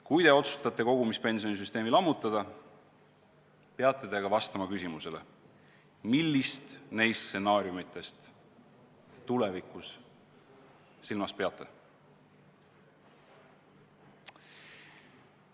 Kui te otsustate kogumispensionisüsteemi lammutada, siis peate ka vastama küsimusele, millist neist stsenaariumitest te silmas peate.